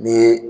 N'i ye